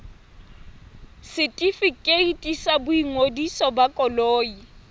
setefikeiti sa boingodiso ba koloi